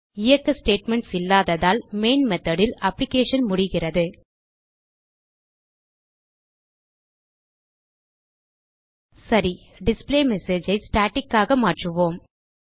இயக்க ஸ்டேட்மென்ட்ஸ் இல்லாததால் main method ல் அப்ளிகேஷன் முடிகிறது சரி டிஸ்பிளேமெஸேஜ் ஐ ஸ்டாட்டிக் ஆக மாற்றுவோம்